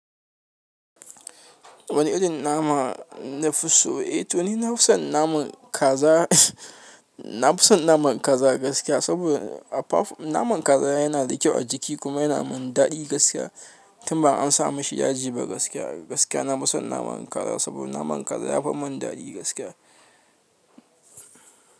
Wani irin nama nafi so? Eh to ni nafi son naman kaza. Na fi son naman kaza gaskiya saboda naman kaza yana da kyau a jiki kuma yana mun daɗi gaskiya tun ba an sa mashi yaji ba gaskiya. Gaskiya na fi son naman kaza saboda naman kaza yafi mun daɗi gaskiya.